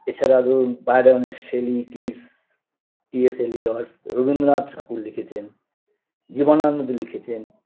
এছাড়া ধরুন Byron Shelley Keats ইয়েসেলি ওট্স রবীন্দ্রনাথ ঠাকুর লিখেছেন জীবনানন্দ লিখেছেন